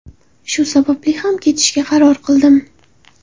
Shu sababli ham ketishga qaror qildim.